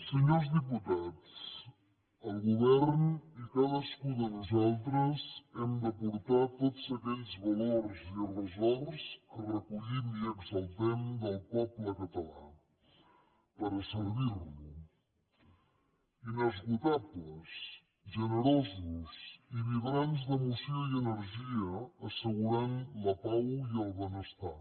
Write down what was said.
senyors diputats el govern i cadascú de nosaltres hem d’aportar tots aquells valors i ressorts que recollim i exaltem del poble català per servir lo inesgotables generosos i vibrants d’emoció i d’energia assegurant la pau i el benestar